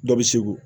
Dɔ bɛ segu